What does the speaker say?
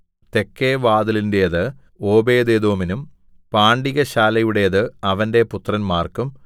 തെക്കെ വാതിലിന്റെത് ഓബേദ്ഏദോമിനും പാണ്ടികശാലയുടേത് അവന്റെ പുത്രന്മാർക്കും